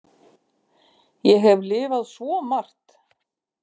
Ég hef lifað svo margt.